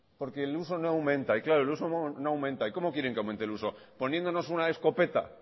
porque el uso no aumenta claro el uso no aumenta y cómo quieren que aumente el uso poniéndonos una escopeta